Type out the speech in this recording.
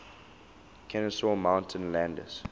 kenesaw mountain landis